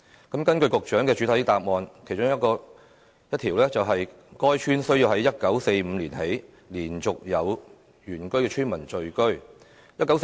局長在主體答覆提及的其中一個基本條件是，必須"自1945年以來連續有原居村民在該鄉村聚居"。